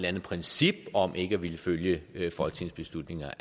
andet princip om ikke at ville følge folketingsbeslutninger